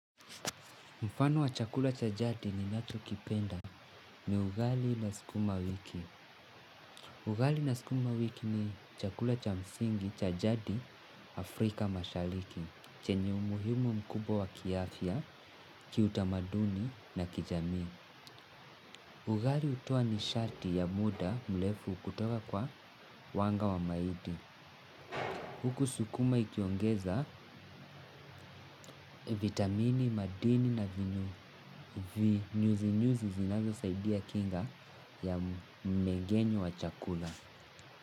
Mfano wa chakula cha jadi ni nacho kipenda ni ugali na sukuma wiki. Ugali na sukuma wiki ni chakula cha msingi cha jadi Afrika mashariki. Chenye umuhimu mkubwa wa kiafya, kiutamaduni na kijami. Ugali hutua nisharti ya muda mrefu kutoka kwa wanga wa mahindi. Huku sukuma ikiongeza vitamini, madini na vinyo. Ni nyuzinyuzi zinazosaidia kinga ya mmeng'enyo wa chakula.